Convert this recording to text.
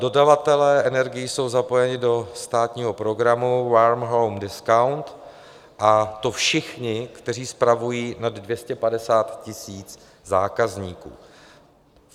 Dodavatelé energií jsou zapojeni do státního programu Warm Home Discount, a to všichni, kteří spravují nad 250 000 zákazníků.